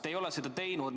Te ei ole seda teinud.